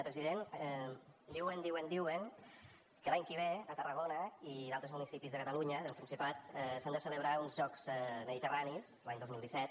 president diuen diuen diuen que l’any que ve a tarragona i d’altres municipis de catalunya del principat s’han de celebrar uns jocs mediterranis l’any dos mil disset